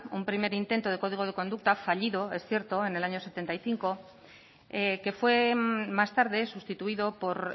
un primer intento de código de conducta fallido es cierto en el año mil novecientos setenta y cinco que fue más tarde sustituido por